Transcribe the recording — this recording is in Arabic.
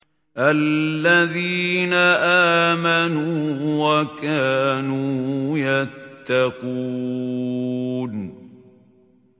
الَّذِينَ آمَنُوا وَكَانُوا يَتَّقُونَ